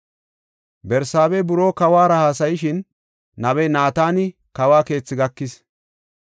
Barsaaba buroo kawuwara haasayishin, nabey Naatani kawo keethi gakis.